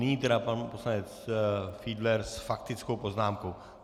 Nyní tedy pan poslanec Fiedler s faktickou poznámkou.